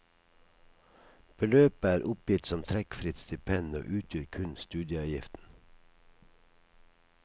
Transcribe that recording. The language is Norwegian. Beløpet er oppgitt som trekkfritt stipend og utgjør kun studieavgiften.